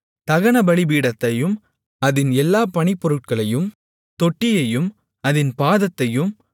தகனபலிபீடத்தையும் அதின் எல்லா பணிப்பொருட்களையும் தொட்டியையும் அதின் பாதத்தையும்